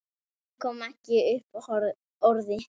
Hann kom ekki upp orði.